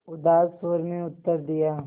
उदास स्वर में उत्तर दिया